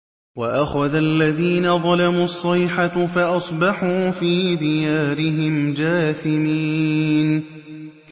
وَأَخَذَ الَّذِينَ ظَلَمُوا الصَّيْحَةُ فَأَصْبَحُوا فِي دِيَارِهِمْ جَاثِمِينَ